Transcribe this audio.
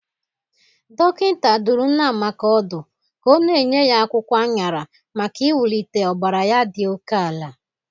Dọkịnta dụrụ nne Amaka ọdụ ka ọ na-enye ya akwụkwọ añara maka inwulite ọbara ya dị oke ala.